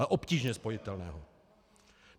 Ale obtížně spojitelné.